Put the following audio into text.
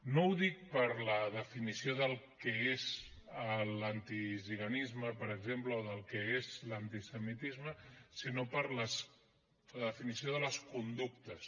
no ho dic per la definició del que és l’antigitanisme per exemple o del que és l’antisemitisme sinó per la definició de les conductes